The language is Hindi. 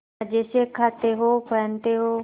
मजे से खाते हो पहनते हो